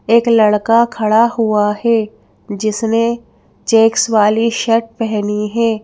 एक लड़का खड़ा हुआ है जिसने चेक्स वाली शर्ट पहनी है।